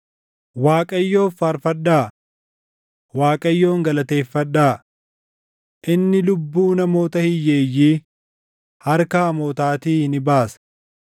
Waaqayyoof faarfadhaa! Waaqayyoon galateeffadhaa! Inni lubbuu namoota hiyyeeyyii harka hamootaatii ni baasa.